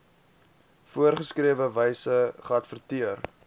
voorgeskrewe wyse geadverteer